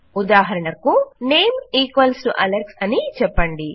ఉదాహరణకు name equals to Alex అని చెప్పండి